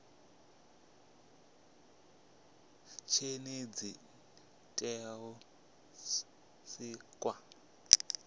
zhenedzi li tea u sikwa